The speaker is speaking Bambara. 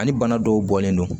Ani bana dɔw bɔlen don